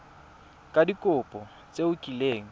ka dikopo tse o kileng